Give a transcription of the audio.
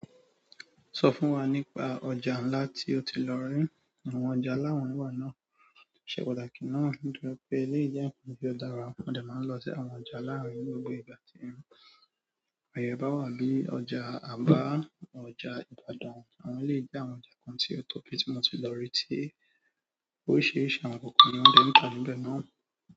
Sọ fún wa nípa ọjà ńlá tí o ti lọ rí, àwọn ọjà ńlá wọ̀nyí wanáà ṣe pàtàkì náà. Nítorí pé eleyi jẹ nkan ti o dára wa, mo dẹ máa ń lọ sí àwọn ọjà láàrín ní gbogbo ìgbà tí ń. Ayé bá wà bíi ọjà Aba, ọjà Ibadan, àwọn ilé ìjàǹkan tí o tóbi tí mo ti lọ rí tí oríṣiríṣi àwọn kòkòrò ni wọ́n ti ń tà níbẹ̀ náà.